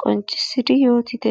qonccsssidi yoottite.